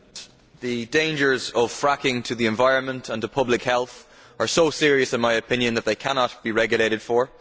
Madam President, the dangers of fracking to the environment and to public health are so serious in my opinion that they cannot be regulated for.